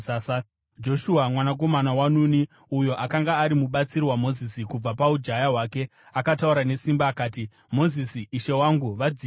Joshua mwanakomana waNuni, uyo akanga ari mubatsiri waMozisi kubva paujaya hwake, akataura nesimba akati, “Mozisi, ishe wangu, vadzivisei!”